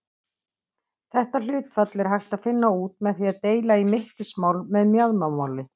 Þetta hlutfall er hægt að finna út með því að deila í mittismál með mjaðmamáli.